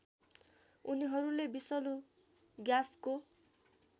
उनीहरूले विषलु ग्याँसको